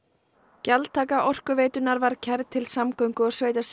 gjaldtaka Orkuveitunnar var kærð til samgöngu og